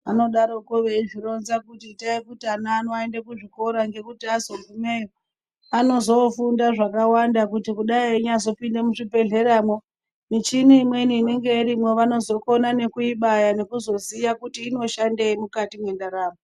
Anodaroko veizvironza kuti itai kuti ana aende kuchikora ngekuti azogumeyo anozoofunda zvakawanda kuti kudai einyazopinda muzvibhedhlera, michini imweni irimwo vanozokona nekuibaya nekuziya kuti inoshandei mukatimwe ndaramo.